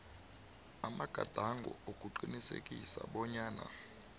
amagadango wokuqinisekisa bonyana